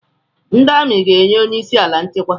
Ndị amị ga na-enye onyeisi ala nchekwa.